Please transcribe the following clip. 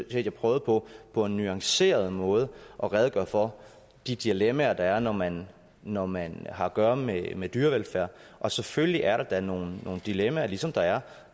jeg prøvede på på en nuanceret måde at redegøre for de dilemmaer der er når man når man har at gøre med med dyrevelfærd og selvfølgelig er der da nogle dilemmaer ligesom der er